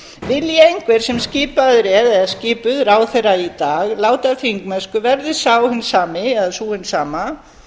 vilji einhver sem skipaður er eða skipuð ráðherra í dag láta af þingmennsku verður sá hinn sami eða sú hin sama